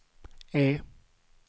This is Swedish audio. E